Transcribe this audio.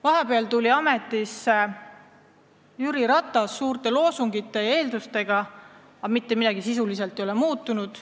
Nüüd on ametisse tulnud Jüri Ratas suurte loosungite ja eeldustega, aga sisuliselt mitte midagi ei ole muutunud.